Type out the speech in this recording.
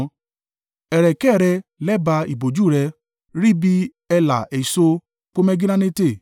Ẹ̀rẹ̀kẹ́ rẹ lẹ́bàá ìbòjú rẹ, rí bí ẹ̀là èso pomegiranate.